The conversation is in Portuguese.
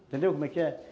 Entendeu como é que é?